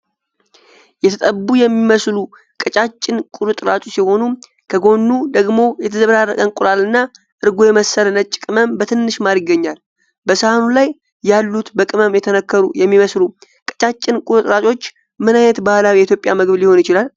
የተጠቡ የሚመስሉ ቀጫጭን ቁርጥራጮች ሲሆን፣ ከጎኑ ደግሞ የተዘበራረቀ እንቁላል እና እርጎ የመሰለ ነጭ ቅመም በትንሽ ማር ይገኛል። በሳህኑ ላይ ያሉት በቅመም የተነከሩ የሚመስሉ ቀጫጭን ቁርጥራጮች ምን ዓይነት ባህላዊ የኢትዮጵያ ምግብ ሊሆን ይችላል?